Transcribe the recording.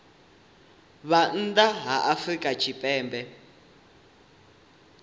vhe nnḓa ha afrika tshipembe